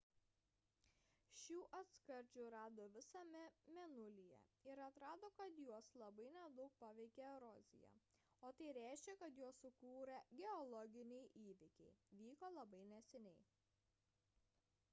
šių atskardžių rado visame mėnulyje ir atrodo kad juos labai nedaug paveikė erozija o tai reiškia kad juos sukūrę geologiniai įvykiai vyko labai neseniai